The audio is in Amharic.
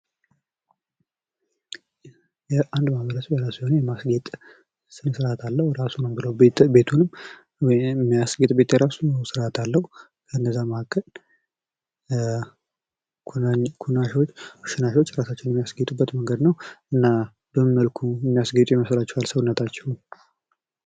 አንድ ማህበረሰብ የራሱ የሆነ የማስጌት ስነስርዓት ራሱን ሆነ ቤቱንም የሚያስጌጥበት የራሱ ስርዓት አለው ።ከነዛ መካከል ሺናሻወች ራሳቸውን የሚያስጌጡበት መንገድ ነው። እና በምን መልኩ የሚያስጌጡ ይመስላችኋል ራሳቸውን?